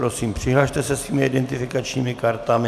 Prosím přihlaste se svými identifikačními kartami.